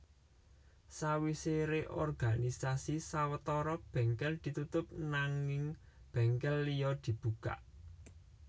Sawisé reorganisasi sawetara bèngkèl ditutup nanging bèngkèl liya dibuka